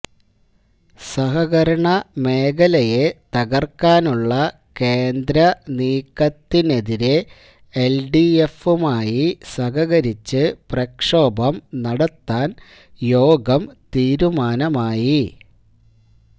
സഹകരണ മേഖലയെ തകർക്കാനുള്ള കേന്ദ്ര നീക്കത്തിനെതിരെ എൽഡിഎഫുമായി സഹകരിച്ച് പ്രക്ഷോഭം നടത്താൻ യോഗം തീരുമാനമായി